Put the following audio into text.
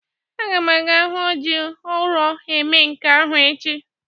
Aga m aga hu o ji ụrọ eme nka ahụ echi.